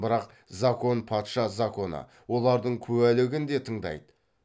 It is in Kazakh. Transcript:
бірақ закон патша законы олардың куәлігін де тыңдайды